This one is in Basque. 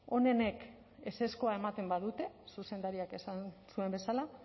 onenek ezezkoa ematen badute zuzendariak esan zuen bezala